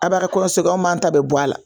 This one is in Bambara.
A b'a ka kɔɲɔso kɛ an b'anw ta bɛɛ bɔ a la